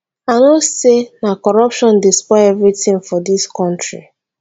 i know sey na corruption dey spoil everytin for dis country